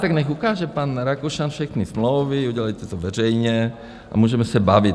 Tak nechť ukáže pan Rakušan všechny smlouvy, udělejte to veřejně a můžeme se bavit.